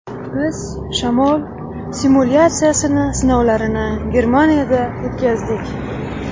Biz shamol simulyatsiyasini sinovlarini Germaniyada o‘tkazdik.